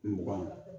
Mugan